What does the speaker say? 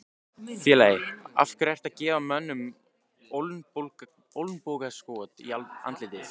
Félagi, af hverju ertu að gefa mönnum olnbogaskot í andlitið?